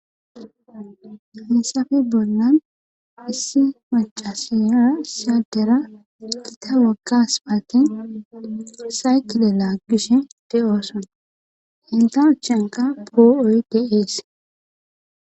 hessafe bolan issi macasiyora isi adera gita wogga aspaalten saykile laaggishe de'ooson henta achanka poo'oy de'ees